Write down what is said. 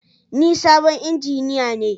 Ni sabon injiniya ne